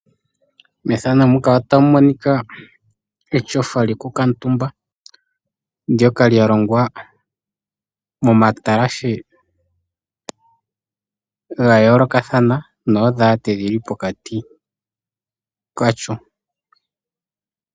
Etyofa lyokukutumba ndyoka lyalongwa momatalashe gayoolokathana noodhalate dhili pokati kalyo.